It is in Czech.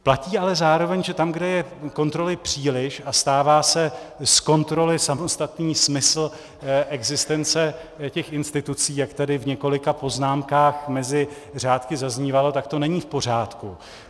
Platí ale zároveň, že tam, kde je kontroly příliš a stává se z kontroly samostatný smysl existence těch institucí, jak tady v několika poznámkách mezi řádky zaznívalo, tak to není v pořádku.